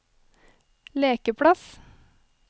lekeplass